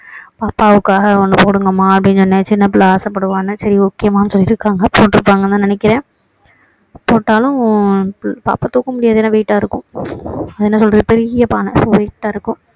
பாப்பாவுக்காக ஒண்ணு போடுங்க அம்மா அப்படின்னு சொன்னேன் சின்ன பிள்ளை ஆசை படுவான்னு சரி okay மான்னு சொல்லி இருக்காங்க போட்டு இருப்பாங்கன்னு தான் நினைக்கிறேன் போட்டாலும் பாப்பா தூக்க முடியாது ஏன்னா wait டா இருக்கும் அது என்ன சொல்றது பெரிய பானை wait டா இருக்கும்